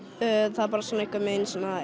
það er bara svona einhvern veginn svona